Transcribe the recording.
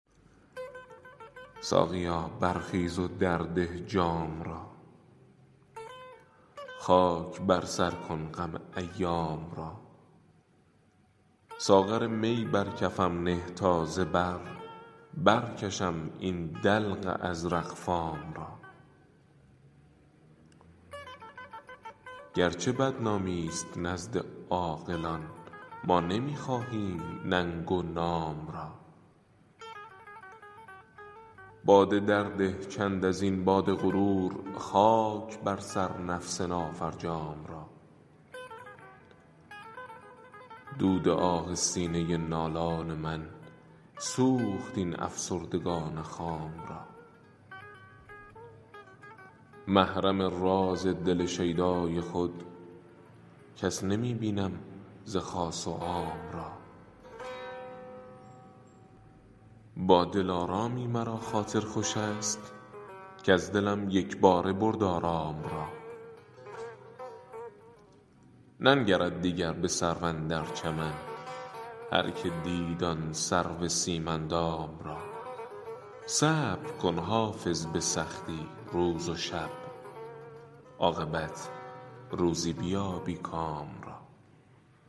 ساقیا برخیز و درده جام را خاک بر سر کن غم ایام را ساغر می بر کفم نه تا ز بر برکشم این دلق ازرق فام را گرچه بدنامی ست نزد عاقلان ما نمی خواهیم ننگ و نام را باده درده چند از این باد غرور خاک بر سر نفس نافرجام را دود آه سینه نالان من سوخت این افسردگان خام را محرم راز دل شیدای خود کس نمی بینم ز خاص و عام را با دلارامی مرا خاطر خوش است کز دلم یک باره برد آرام را ننگرد دیگر به سرو اندر چمن هرکه دید آن سرو سیم اندام را صبر کن حافظ به سختی روز و شب عاقبت روزی بیابی کام را